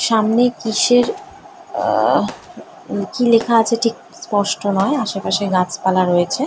সামনে কিসের আ-- কি লেখা আছে ঠিক স্পষ্ট নোই আশেপাশে গাছপালা আছে ।